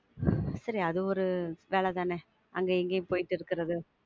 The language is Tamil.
சரி அது ஒரு வேல தான, அங்கயும் இங்கயும் போயிட்டு இருக்குறது.